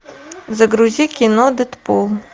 загрузи кино дедпул